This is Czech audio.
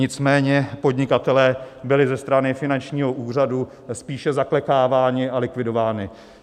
Nicméně podnikatelé byli ze strany finančního úřadu spíše zaklekáváni a likvidováni.